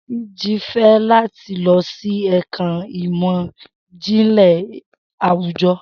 Siji fẹ lati lọ si ẹka imọ-jinlẹ awujọ